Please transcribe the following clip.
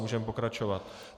Můžeme pokračovat.